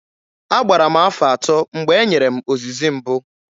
Agbara m afọ atọ mgbe e nyere m ozizi mbụ.